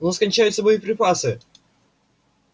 у нас кончаются боеприпасы